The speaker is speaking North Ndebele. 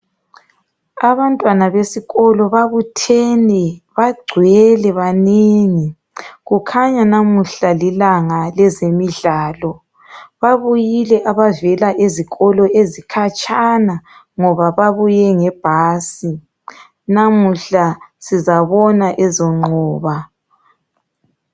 Abantwana besikolo babuthene, bagcwele, banengi. Kukhanya namuhla lilanga lezemidlalo. Babuyile abavela ezikolo ezikhatshana ngoba babuye ngebhasi. Namuhla sizabona ezonqoba.